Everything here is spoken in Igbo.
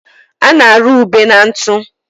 a na-arụ ube na ntụ.